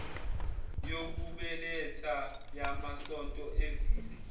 yokubeletha yamasonto evile